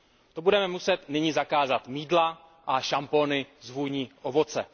To budeme muset nyní zakázat mýdla a šampony s vůní ovoce.